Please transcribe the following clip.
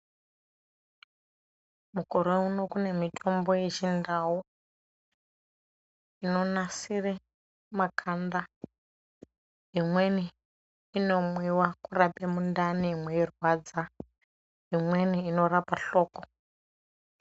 Mukore uno kune mitombo yechindau inonasire makanda, imweni inomwiwa kurape mundani mweirwadza, imweni inorapa hloko.